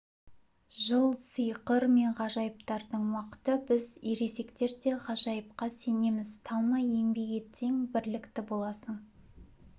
жыл сиқыр мен ғажайыптардың уақыты біз ересектер де ғажайыпқа сенеміз талмай еңбек етсең бірлікті болсаң